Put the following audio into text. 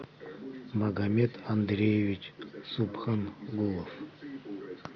магомед андреевич субхангулов